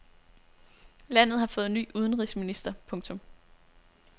Landet har fået ny udenrigsminister. punktum